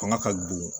Fanga ka bon